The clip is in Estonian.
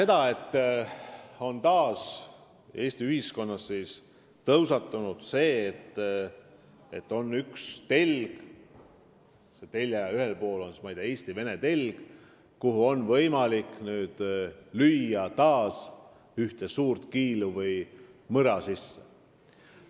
Ma näen, et Eesti ühiskonnas on taas üles tõusnud probleem ühel teljel, mille ühes otsas on Eesti-Vene suhted, kuhu on võimalik jälle ühte suurt kiilu või mõra sisse lüüa.